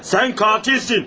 Sən qatilsən.